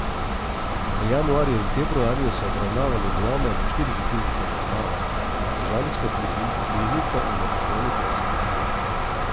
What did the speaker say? V januarju in februarju so obravnavali vlome v štiri gostinske lokale, v sežansko knjižnico in v poslovni prostor.